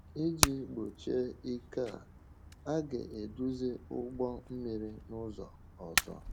Iji gbochie ike a, a ga-eduzi ụgbọ mmiri n’ụzọ ọzọ.